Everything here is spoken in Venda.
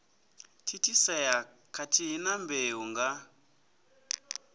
thithisea khathihi na mbeu nga